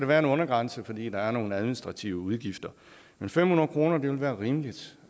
være en undergrænse fordi der er nogle administrative udgifter men fem hundrede kroner vil være rimeligt